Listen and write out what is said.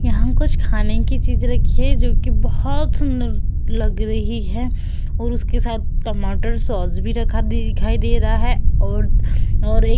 यहाँ कुछ खाने की चीज रखी है जोकि बोहोत सुंदर लग रही है और उसके साथ टमाटर सॉस भी रखा दिखाई दे रहा है और और एक --